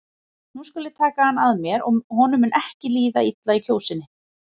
Nú skal ég taka hann að mér og honum mun ekki líða illa í Kjósinni.